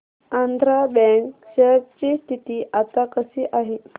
Andhra bank share ची स्थिती आता कशी आहे